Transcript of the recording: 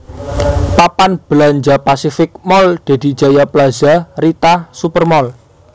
Papan belanja Pacific Mall Dedy Jaya Plaza Rita Super Mall